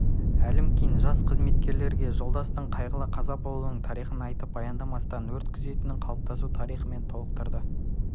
әлімкин жас қызметкерлерге жолдастың қайғылы қаза болуының тарихын айтып баяндамасын өрт күзетінің қалыптасу тарихымен толықтырды